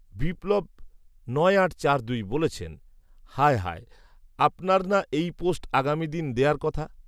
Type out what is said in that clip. বিপ্লব নয় আট চার দুই বলেছেন, হায় হায় আপনার না এই পোস্ট আগামীদিন দেয়ার কথা